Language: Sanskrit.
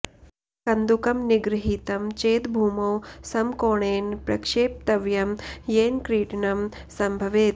कन्दुकं निगृहीतं चेद भूमौ समकोणेन प्रक्षेप्तव्यं येन क्रीडनं सम्भवेत्